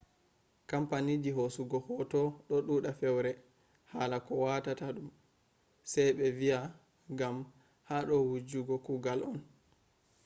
kampaniji hosugo hoto do duda fewre hala ko watata dum se be viya gam hada wujjugo kugal on